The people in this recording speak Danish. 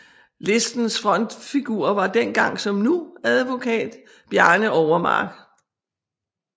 Listens frontfigur var dengang som nu advokat Bjarne Overmark